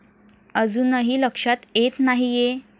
अजूनही लक्षात येत नाहीये?